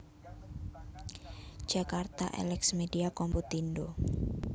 Jakarta Elex Media Komputindo